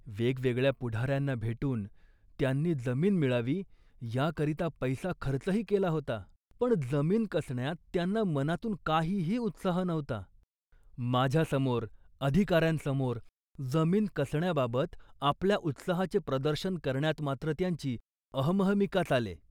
वेगवेगळ्या पुढाऱ्यांना भेटून त्यांनी जमीन मिळावी याकरिता पैसा खर्चही केला होता, पण जमीन कसण्यात त्यांना मनातून काहीही उत्साह नव्हता. माझ्यासमोर, अधिकाऱ्यांसमोर जमीन कसण्याबाबत आपल्या उत्साहाचे प्रदर्शन करण्यात मात्र त्यांची अहमहमिका चाले